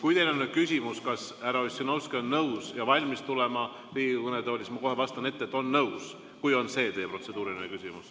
Kui teil on nüüd küsimus, kas härra Ossinovski on nõus ja valmis tulema Riigikogu kõnetooli, siis ma kohe vastan ette, et on nõus – kui on see teie protseduuriline küsimus.